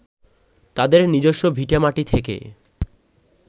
তাদের নিজস্ব ভিটেমাটি থেকে